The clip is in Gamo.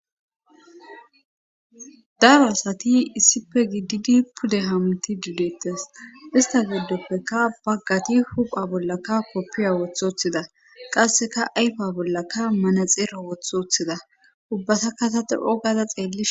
daro asati issipe giddidi pude hamti didettes ista geddoppeka baggati hupha bollaka koppiya wothothida qasseka ayfa bollaka mana xeera wothothida ubbasa kataxirqo gaaza xeelli